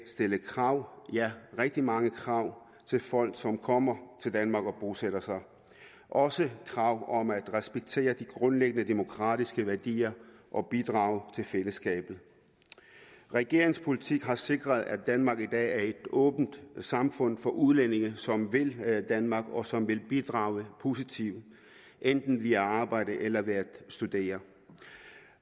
stillet krav ja rigtig mange krav til folk som kommer til danmark og bosætter sig også krav om at respektere de grundlæggende demokratiske værdier og bidrage til fællesskabet regeringens politik har sikret at danmark i dag er et åbent samfund for udlændinge som vil danmark og som vil bidrage positivt enten via arbejde eller ved at studere